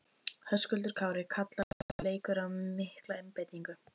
Höskuldur Kári: Kallar þessi leikur á mikla einbeitingu?